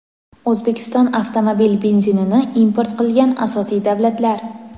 O‘zbekiston avtomobil benzinini import qilgan asosiy davlatlar:.